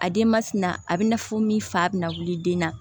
A denbafin na a bɛ na fɔ min fa bɛna wuli den na